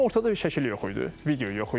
Amma ortada bir şəkil yox idi, video yox idi.